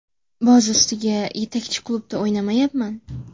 Boz ustiga yetakchi klubda o‘ynamayapman.